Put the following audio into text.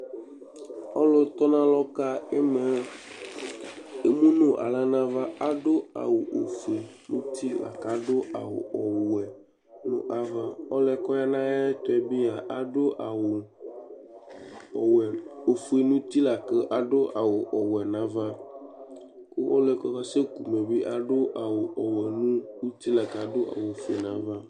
Ɔlʋtɔnalɔ ka ɩma yɛ emu nʋ aɣla nʋ ava Adʋ awʋ ofue nʋ uti la kʋ adʋ awʋ ɔwɛ nʋ ava Ɔlʋ yɛ kʋ ɔya nʋ ayɛtʋ yɛ bɩ a, adʋ awʋ ɔwɛ, ofue nʋ uti la kʋ adʋ awʋ ɔwɛ nʋ ava kʋ ɔlʋ yɛ kʋ ɔkaseku ma bɩ adʋ awʋ ɔwɛ nʋ uti la kʋ adʋ awʋ ofue nʋ ava